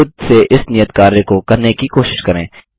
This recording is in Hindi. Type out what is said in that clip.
खुद से इस नियत कार्य को करने की कोशिश करें